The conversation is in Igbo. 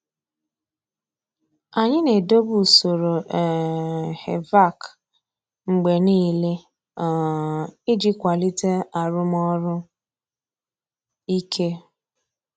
Anyị na-edobe usoro um HVAC mgbe niile um iji kwalite arụmọrụ ike.